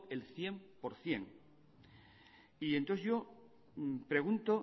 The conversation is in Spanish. el cien por ciento y entonces yo pregunto